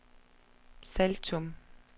Saltum